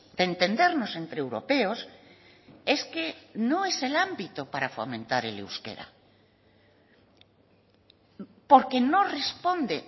de entendernos entre europeos es que no es el ámbito para fomentar el euskera porque no responde